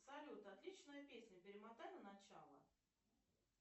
салют отличная песня перемотай на начало